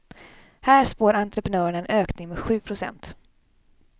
Här spår entreprenörerna en ökning med sju procent.